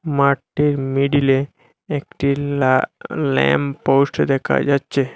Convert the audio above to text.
মাঠটির মিডিলে একটি লা ল্যাম্পপোস্ট দেখা যাচ্ছে।